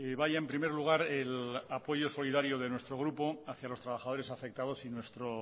vaya en primer lugar el apoyo solidario de nuestro grupo hacia los trabajadores afectados y nuestro